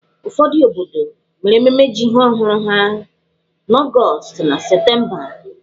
Ụfọdụ obodo mere ememme ji ọhụrụ ha n'Ọgọọst na Septemba.